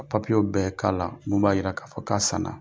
Ka papiyew bɛɛ k'a la mun b'a jira k'a fɔ k'a sanna,